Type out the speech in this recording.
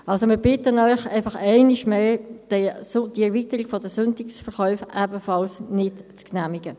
Wir bitten Sie einmal mehr, die Erweiterung der Sonntagsverkäufe ebenfalls nicht zu genehmigen.